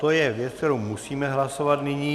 To je věc, kterou musíme hlasovat nyní.